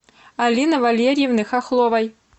алины валерьевны хохловой